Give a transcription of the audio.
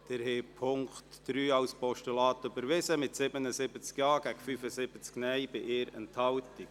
Sie haben den Punkt 3 als Postulat angenommen, mit 77 Ja- gegen 75 Nein-Stimmen bei 1 Enthaltung.